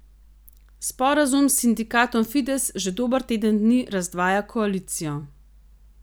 Sporazum s sindikatom Fides že dober teden dni razdvaja koalicijo.